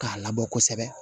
K'a labɔ kosɛbɛ